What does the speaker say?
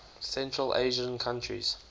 central asian countries